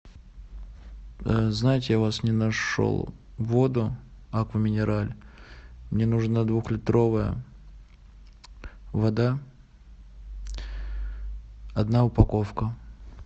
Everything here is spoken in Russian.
знаете я у вас не нашел воду аква минерале мне нужна двухлитровая вода одна упаковка